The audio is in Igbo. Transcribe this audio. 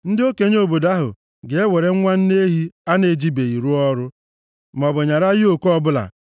Ndị okenye obodo ahụ ga-ewere nwa nne ehi a na-ejibeghị rụọ ọrụ, maọbụ nyara yoku ọbụla